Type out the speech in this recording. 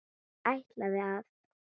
Hann ætlaði að.